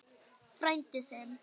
Frændi þinn?